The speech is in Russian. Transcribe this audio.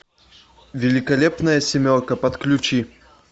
великолепная семерка подключи